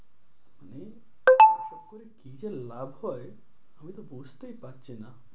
ওদের কি যে লাভ হয়? আমিতো বুঝতেই পারছি না,